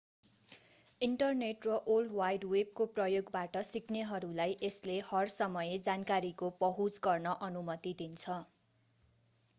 internet र world wide वेबको प्रयोगबाट सिक्नेहरूलाई यसले हर समय जानकारीको पहुँच गर्न अनुमति दिन्छ